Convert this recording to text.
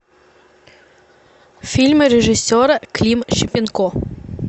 фильмы режиссера клим шипенко